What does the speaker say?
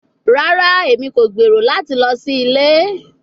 Rara, Emi ko gbero lati lọ si ile